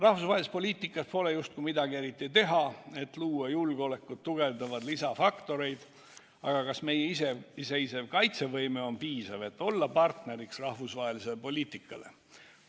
Rahvusvahelises poliitikas pole justkui midagi eriti teha, et luua julgeolekut tugevdavaid lisafaktoreid, aga kas meie iseseisev kaitsevõime on piisav, et olla partneriks rahvusvahelisele poliitikale?